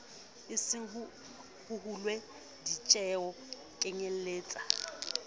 esong ho hulwe ditjeho kenyeletsa